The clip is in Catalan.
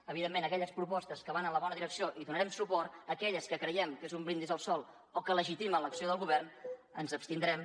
evidentment a aquelles propostes que van en la bona direcció hi donarem suport en aquelles que creiem que és un brindis al sol o que legitimen l’acció del govern ens abstindrem